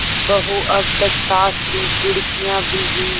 बहू अब तक सास की घुड़कियॉँ भीगी